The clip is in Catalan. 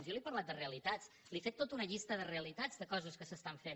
jo li he parlat de realitats li he fet tota una llista de realitats de coses que s’estan fent